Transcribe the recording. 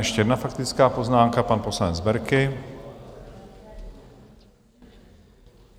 Ještě jedna faktická poznámka, pan poslanec Berki.